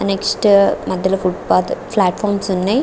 NEFT మధ్యలో footpath platforms ఉన్నాయ్.